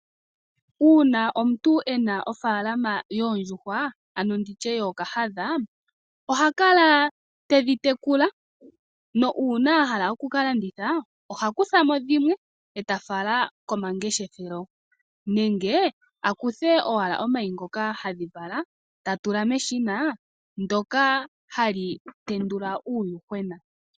Uuna omuntu e na ofaalama yoondjuhwa ano tu tye yookahadha oha kala te dhi tekula, nuuna a hala okuka landitha oha kutha mo dhimwe e ta fala komangeshefelo nenge a kuthe owala omayi ngoka hadhi vala e ta tula meshina ndyoka hali tendula uuyuhwena.